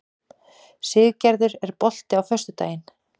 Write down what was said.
Siggerður, er bolti á föstudaginn?